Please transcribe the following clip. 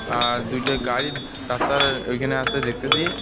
আর দুইটা গাড়ি রাস্তার এইখানে আছে দেখতেসি.